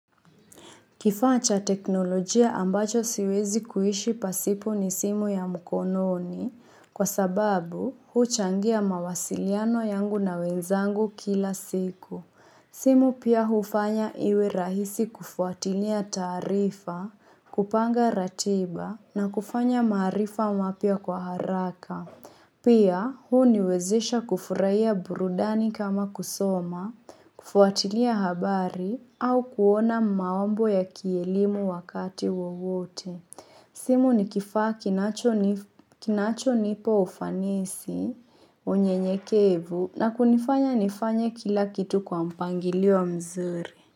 Kifaa cha teknolojia ambacho siwezi kuishi pasipo ni simu ya mkononi kwa sababu huchangia mawasiliano yangu na wenzangu kila siku. Simu pia hufanya iwe rahisi kufuatilia taarifa, kupanga ratiba na kufanya maarifa mapya kwa haraka. Pia, huniwezesha kufurahiya burudani kama kusoma, kufuatilia habari au kuona maombo ya kielimu wakati wowote. Simu ni kifaa kinachonipa ufanisi, unyenyekevu na kunifanya nifanye kila kitu kwa mpangilio mzuri.